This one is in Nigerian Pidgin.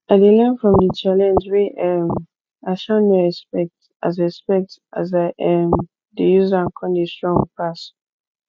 i dey learn from di challenge wey um i um no expect as expect as i um dey use am con dey strong pass